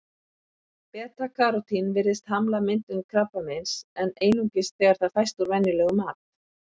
Beta-karótín virðist hamla myndun krabbameins, en einungis þegar það fæst úr venjulegum mat.